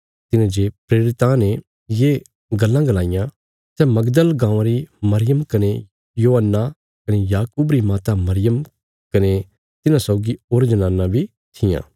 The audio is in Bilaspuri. तिन्हें जे प्रेरितां ने ये गल्लां गलाईयां सै मगदल गाँवां री मरियम कने योअन्ना कने याकूब री माता मरियम कने तिन्हां सौगी होर जनानां बी थिआं